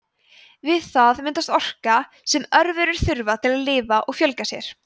við það myndast orka sem örverur þurfa til að lifa og fjölga sér